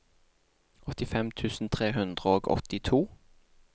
åttifem tusen tre hundre og åttito